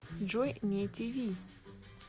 джой не ти ви